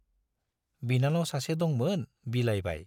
बिनानाव सासे दंमोन, बिलाइबाय।